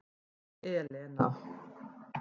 Elena